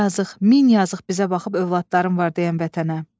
Yazıq, min yazıq bizə baxıb övladların var deyən vətənə.